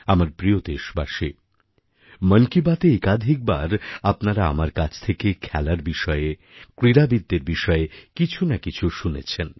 আমার প্রিয় দেশবাসী মন কি বাতএ একাধিক বার আপনারা আমার কাছ থেকে খেলার বিষয়ে ক্রীড়াবিদ্দের বিষয়ে কিছু না কিছু শুনেছেন